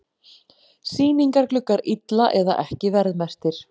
Sýningargluggar illa eða ekki verðmerktir